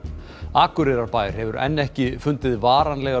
Akureyrarbær hefur enn ekki fundið varanlega